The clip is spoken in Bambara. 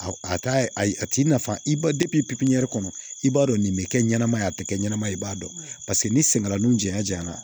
A t'i nafa i ba kɔnɔ i b'a dɔn nin bɛ kɛ ɲɛnamaya a tɛ kɛ ɲɛnama ye i b'a dɔn paseke ni senkalun janya janya na